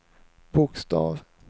bokstav